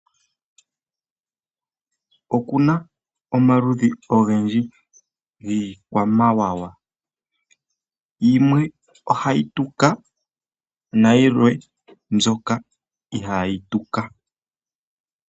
Okuna omaludhi ogendji giikwamawawa. Yimwe ohayi tuka nayilwe mbyoka ihayi tuka.